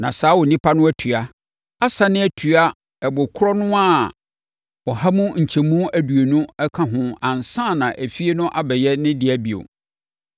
na saa onipa no atua, asane atua ɛbo korɔ no ara ɔha mu nkyɛmu aduonu aka ho ansa na efie no abɛyɛ ne dea bio.